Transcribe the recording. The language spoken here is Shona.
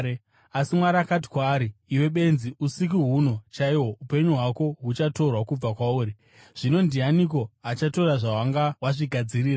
“Asi Mwari akati kwaari, ‘Iwe benzi, usiku huno chaihwo upenyu hwako huchatorwa kubva kwauri. Zvino ndianiko achatora zvawanga wazvigadzirira?’